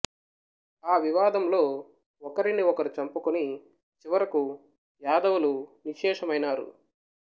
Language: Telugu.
ఆ వివాదంలో ఒకరిని ఒకరు చంపుకుని చివరకు యాదవులు నిశ్శేషమైనారు